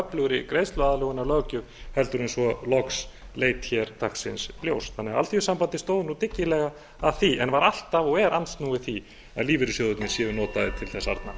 öflugri greiðsluaðlögunarlöggjöf en svo loks leit hér dagsins ljós alþýðusambandið stóð því dyggilega að því en var alltaf og er andsnúið því að lífeyrissjóðirnir séu notaðir til þess arna